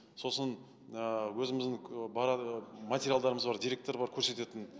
сосын ыыы өзіміздің материалдарымыз бар деректер бар көрсететін